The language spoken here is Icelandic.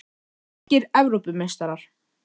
Grikkir Evrópumeistarar!?